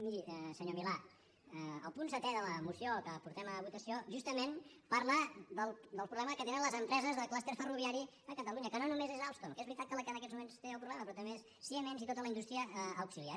miri senyor milà el punt setè de la moció que portem a votació justament parla del problema que tenen les empreses de clúster ferroviari a catalunya que no només és alstom que és veritat que és la que en aquests moments té el problema però també és siemens i tota la indústria auxiliar